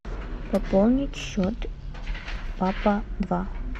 пополнить счет папа два